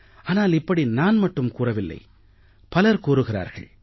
ஆனால் இப்படி நான் மட்டும் கூறவில்லை பலர் கூறுகிறார்கள்